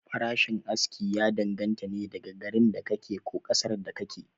Farashin aski ya dan ganta ne da garin da ka ke, ko ƙasar da ka ke